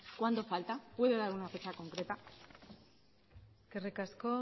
cuanto falta puede dar una fecha concreta eskerrik asko